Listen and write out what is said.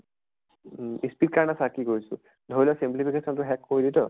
উম speed কাৰণে চা কি কৰিছোঁ। ধৰি ল simplification টো শেষ কৰিলি ত